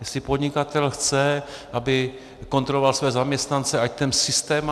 Jestli podnikatel chce, aby kontroloval svoje zaměstnance, ať ten systém má.